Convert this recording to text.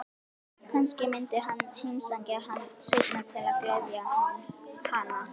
Kannski myndi hann heimsækja hana seinna til að gleðja hana.